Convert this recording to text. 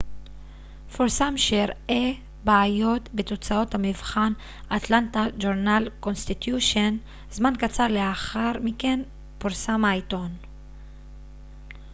זמן קצר לאחר מכן פרסם העיתון atlanta journal-constitution פרסם שהראה בעיות בתוצאות המבחן